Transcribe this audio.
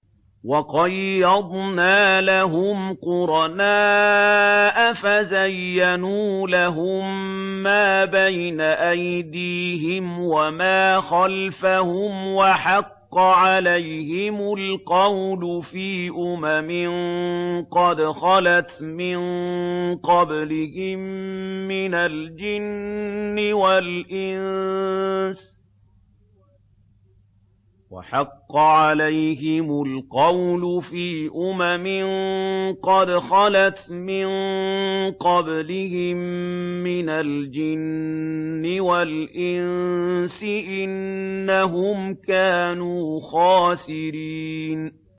۞ وَقَيَّضْنَا لَهُمْ قُرَنَاءَ فَزَيَّنُوا لَهُم مَّا بَيْنَ أَيْدِيهِمْ وَمَا خَلْفَهُمْ وَحَقَّ عَلَيْهِمُ الْقَوْلُ فِي أُمَمٍ قَدْ خَلَتْ مِن قَبْلِهِم مِّنَ الْجِنِّ وَالْإِنسِ ۖ إِنَّهُمْ كَانُوا خَاسِرِينَ